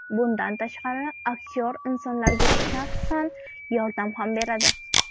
Bundan tashqari, aktyor insonlarga shaxsan yordam ham beradi.